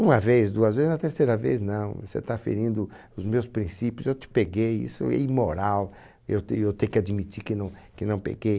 Uma vez, duas vezes, a terceira vez, não, você está ferindo os meus princípios, eu te peguei, isso é imoral, eu tenho eu ter que admitir que não que não pequei.